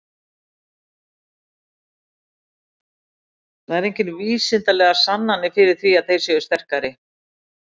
Það eru engar vísindalegar sannanir fyrir því að þeir séu sterkari.